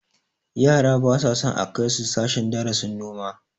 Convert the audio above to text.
Yara ba sa son a kai su sashen darasin noma